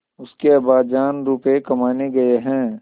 उसके अब्बाजान रुपये कमाने गए हैं